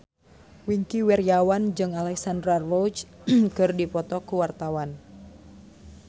Wingky Wiryawan jeung Alexandra Roach keur dipoto ku wartawan